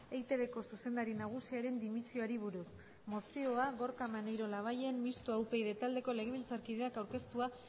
eitbko zuzendari nagusiaren dimisioari buruz mozioa gorka maneiro labayen mistoa upyd taldeko legebiltzarkideak aurkeztua